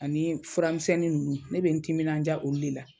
Ani furamisɛnnin ninnu ne bɛ n teminandiya olu de la.